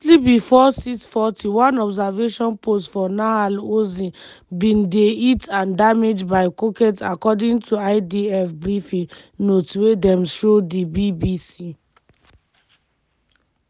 shortly bifor06:40 one observation post for nahal oz bin dey hit and damaged by coket according to idf briefing notes wey dem show di bbc.